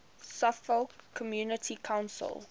suffolk community council